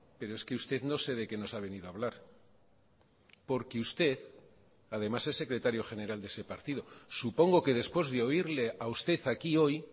pero es que usted no sé de qué nos ha venido a hablar porque usted además es secretario general de ese partido supongo que después de oírle a usted aquí hoy